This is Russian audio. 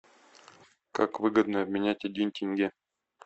как выгодно обменять один тенге